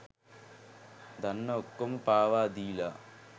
දන්න ඔක්කොම පාවා දීලා